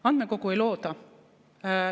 Andmekogu ei looda.